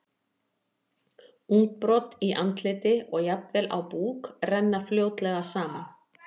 Útbrot í andliti og jafnvel á búk renna fljótlega saman.